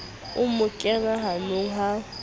o mo kena hanong ha